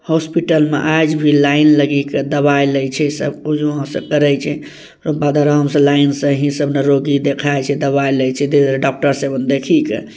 hospital में आज भी लाईन लगी के दवाई लय छै सब‌ कुछ वहां से करय छै अब लाइन से ही सब निरोगी देखाय छै दवा लय छै धीरे-धीरे डाक्टर से देखी के----